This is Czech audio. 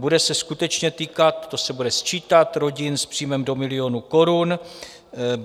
Bude se skutečně týkat - to se bude sčítat - rodin s příjmem do milionu korun.